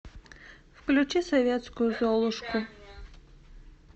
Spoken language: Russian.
включи советскую золушку